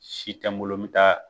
Si tɛ n bolo n bɛ taa